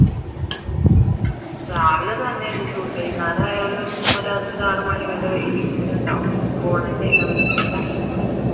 രാവിലെ തന്നെ ഈ സുബഹി നേരമായാലും ഒരു അഞ്ചാറു മണി വരെ വെയിലിങ്ങനെ ഉണ്ടാവും വൈകിട്ട്